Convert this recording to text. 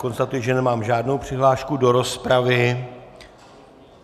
Konstatuji, že nemám žádnou přihlášku do rozpravy.